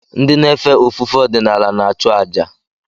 Ndị na-efe ofufe ọdịnala na-achụ àjà